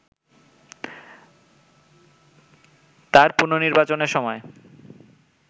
তার পুণনির্বাচনের সময়